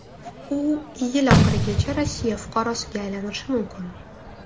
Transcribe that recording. U yil oxirigacha Rossiya fuqarosiga aylanishi mumkin.